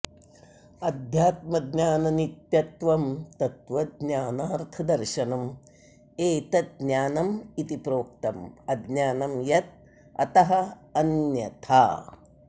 अध्यात्मज्ञाननित्यत्वं तत्त्वज्ञानार्थदर्शनम् एतत् ज्ञानम् इति प्रोक्तम् अज्ञानं यत् अतः अन्यथा